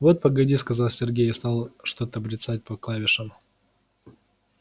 вот погоди сказал сергей и стал что-то бряцать по клавишам